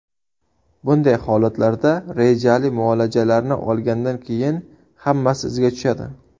Bunday holatlarda rejali muolajalarni olgandan keyin hammasi iziga tushadi.